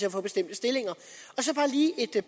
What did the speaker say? at få bestemte stillinger så bare lige et